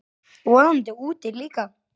Vonandi úti líka.